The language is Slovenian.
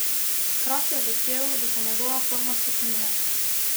Kraft je vesel, da se njegova forma stopnjuje.